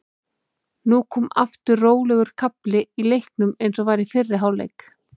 Nú kom aftur rólegur kafli í leiknum eins og var í fyrri hálfleik.